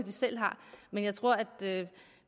men jeg tror at